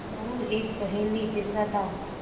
मोरू एक पहेली जैसा था